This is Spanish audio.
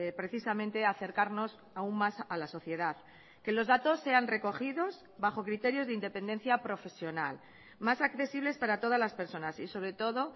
precisamente acercarnos aún más a la sociedad que los datos sean recogidos bajo criterios de independencia profesional más accesibles para todas las personas y sobre todo